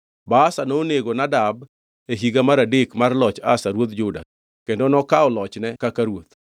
Baasha nonego Nadab e higa mar adek mar loch Asa ruodh Juda, kendo nokaw lochne kaka ruoth.